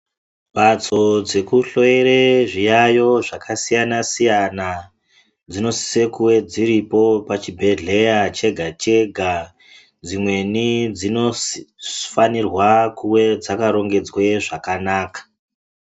Mbatso dzekuhloyera zviyayo zvakasiyana siyana dzinosisa kuve dziripo pachibhedhlera chega chega dzimweni dzinofanirwa kuwe dzakarongedzwe zvakanaka.